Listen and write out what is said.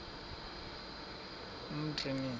umtriniti